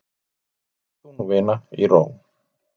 Far þú nú vina í ró.